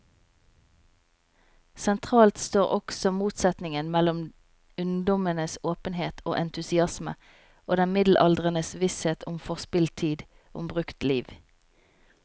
Sentralt står også motsetningen mellom ungdommens åpenhet og entusiasme og den middelaldrendes visshet om forspilt tid, om brukt liv.